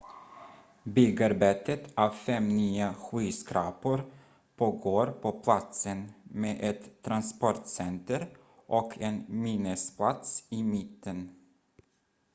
byggarbetet av fem nya skyskrapor pågår på platsen med ett transportcenter och en minnesplats i mitten